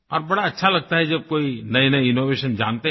और बड़ा अच्छा लगता है जब कोई नयेनये इनोवेशन जानते हैं